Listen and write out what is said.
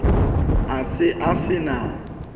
a se a se na